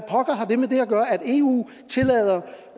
eu tillader